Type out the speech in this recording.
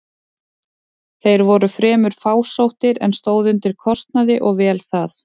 Þeir voru fremur fásóttir, en stóðu undir kostnaði og vel það.